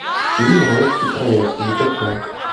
фильм райский проект закачай